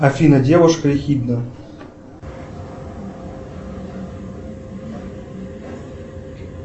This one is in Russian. афина девушка ехидна